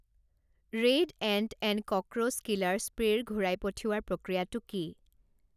Raid ant and cockroach killer স্প্ৰে'ৰ ঘূৰাই পঠিওৱাৰ প্ৰক্ৰিয়াটো কি?